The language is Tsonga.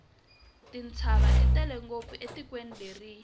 tintshava ti tele ngopfu etikweni leriya